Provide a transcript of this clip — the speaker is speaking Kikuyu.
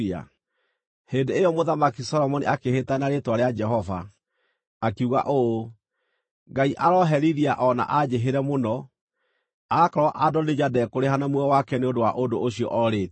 Hĩndĩ ĩyo Mũthamaki Solomoni akĩĩhĩta na rĩĩtwa rĩa Jehova, akiuga ũũ: “Ngai arooherithia o na anjĩhĩre mũno, aakorwo Adonija ndekũrĩha na muoyo wake nĩ ũndũ wa ũndũ ũcio orĩtie!